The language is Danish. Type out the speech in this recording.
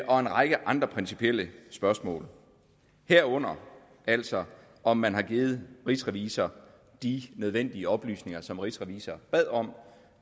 og en række andre principielle spørgsmål herunder altså om man har givet rigsrevisor de nødvendige oplysninger som rigsrevisor bad om